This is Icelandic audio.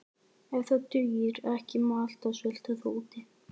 Ef það dugir ekki má alltaf svelta þá úti.